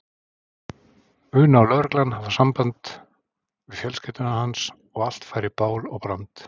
una og lögreglan hafa samband við fjölskylduna hans og allt færi í bál og brand.